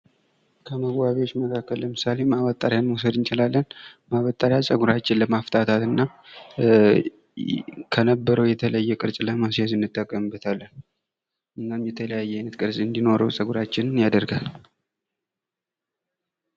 ከመዋቢያዎች መካከል ለምሳሌ ማበጠርያ መውሰድ እንችላለን። ማበጠሪያ ፀጉራችን ለማፍታታት እና ከነበረው የተለየ አይነት ቅርጽ ለማስያዝ እንጠቀምበታለን። እናም የተለያየ ቅርጽ እንዲኖረው ፀጉራችንን ያደርጋል።